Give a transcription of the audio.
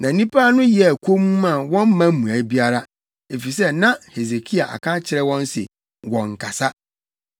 Na nnipa no yɛɛ komm a wɔamma mmuae biara, efisɛ na Hesekia aka akyerɛ wɔn se wɔnnkasa.